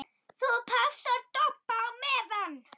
ÞÚ PASSAR DODDA Á MEÐAN!